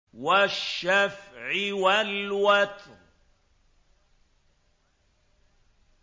وَالشَّفْعِ وَالْوَتْرِ